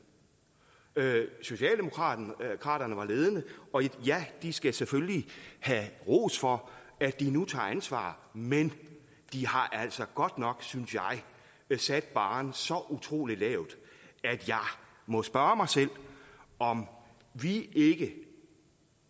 socialdemokraterne var ledende og ja de skal selvfølgelig have ros for at de nu tager ansvar men de har altså godt nok synes jeg sat barren så utrolig lavt at jeg må spørge mig selv om vi ikke